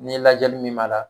N'i lajɛli min m'a la